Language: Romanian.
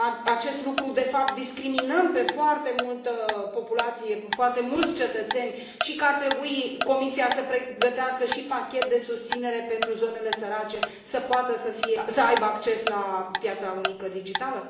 acest lucru, de fapt, discriminăm foarte multă populație, foarte mulți cetățeni și că ar trebui Comisia să pregătească și un pachet de susținere pentru zonele sărace, să poată să aibă acces la piața unică digitală?